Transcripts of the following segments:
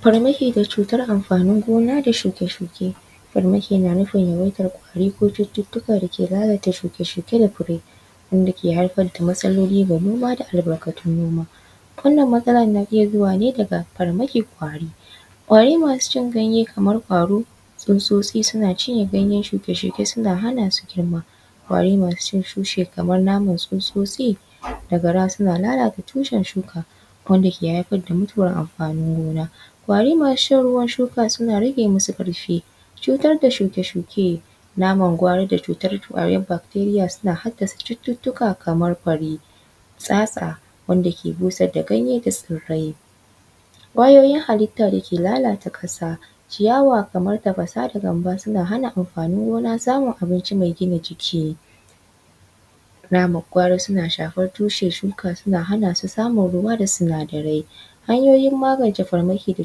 Farmaki ga cutar amfanin gona da shuke-shuke, farmaki na nufin yawaitar kwari ko cututtuka dake lalata shuke-shuke da fire wanda ke haifar da matsaloli ga noma da albarkantun noma. Wannan matsalar na iya zuwa ne daga farmaki kwari. Kwari masu cin ganyan kamar ƙwaro tsutsotsi suna cinye ganye shuke-shuke suna hana su girma, ƙwari masu cin tushe kamar tsutsotsi da gara suna lallata tushen shuka wanda ke haifar da mutuwar amfanin gona. Kwari masu shan ruwan shuka suna rage masu ƙarfi. Cutar da shuke-shuke naman gwari da cutar bacteria na haddasa cuttuttuka kamar fari tsatsa wanda ke busar da ganye ya yi fari. Ƙwayoyin halatta dake lallata ƙasa ciyawa da gamba suna hana amfani samun abinci mai gina jiki. Namar gwari suna shafar tushen shuka suna hana su samun ruwada sinadarai. Hanyoyin magance farmaki ga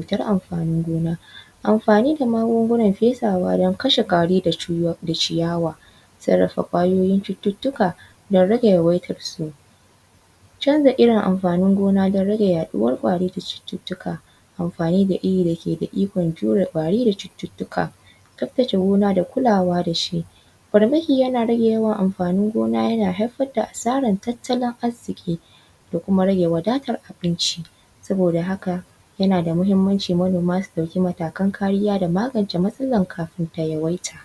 gona amfani da magungunan fesawa don kashe kwarai da ciyawa. Sarrafa Ƙwayoyin cututtuka don rage yawaitarsu, canza irin amfanin gona don rage yaɗuwar kwari da cututtuka amfani da irin wanda yake da ikon jure ƙwari da cututtuka. Tsaftace gona da kuwa da shi. Farmaki yana rage yawan amfanin gona yana haifar da asaraga tattalin arziki da kuma rage wadatar abinci saboda haka yana da mahimmanci manoma su dauki matakan kariya da magance matsalar kafin ta yawaita.